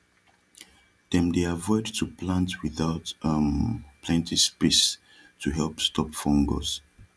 dem dey avoid to plant with out um plenti space to help stop fungus